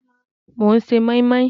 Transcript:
Mò ń ṣe mọ́í mọ́í